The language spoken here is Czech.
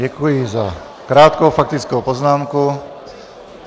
Děkuji za krátkou faktickou poznámku.